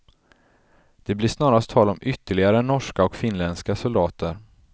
Det blir snarast tal om ytterligare norska och finländska soldater.